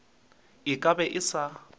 a ka be a sa